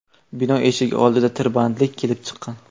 Bino eshigi oldida tirbandlik kelib chiqqan.